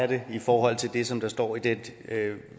det i forhold til det som står i den